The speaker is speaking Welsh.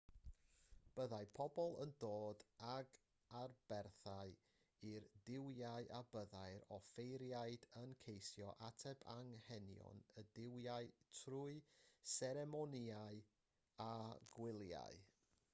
byddai pobl yn dod ag aberthau i'r duwiau a byddai'r offeiriaid yn ceisio ateb anghenion y duwiau trwy seremonïau a gwyliau